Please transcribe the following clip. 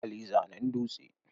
Hali zanen dutse.